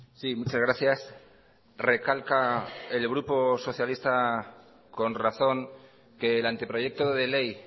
sí muchas gracias recalca el grupo socialista con razón que el anteproyecto de ley